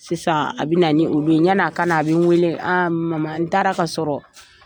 Sisan a bɛ na ni olu ye yan'a ka na a bɛ n weele mama n taara ka sɔrɔ.